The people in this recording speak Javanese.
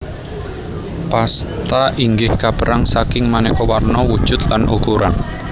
Pasta inggih kapérang saking manéka warna wujud lan ukuran